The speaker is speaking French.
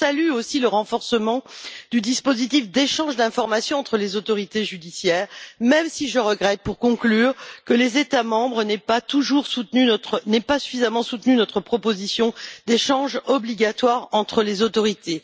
Je salue aussi le renforcement du dispositif d'échange d'informations entre les autorités judiciaires, même si je regrette, pour conclure, que les États membres n'aient pas suffisamment soutenu notre proposition d'échange obligatoire entre les autorités.